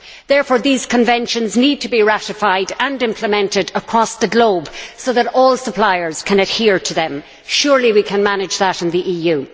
Therefore these conventions need to be ratified and implemented across the globe so that all suppliers can adhere to them. Surely we can manage that in the EU.